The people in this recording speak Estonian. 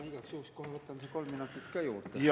Ma igaks juhuks võtan kohe kolm minutit juurde.